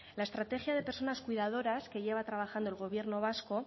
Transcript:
la estrategia de personas cuidadoras que lleva trabajando el gobierno vasco